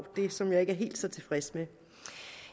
det som jeg ikke er helt så tilfreds med